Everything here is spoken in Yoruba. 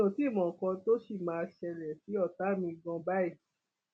mi ò tí ì mọ nǹkan tó ṣì máa ṣẹlẹ sí ọtá mi ganan báyìí